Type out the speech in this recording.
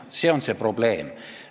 See on see probleem.